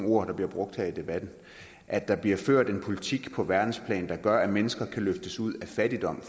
ord der bliver brugt her i debatten at der bliver ført en politik på verdensplan der gør at mennesker kan løftes ud af fattigdom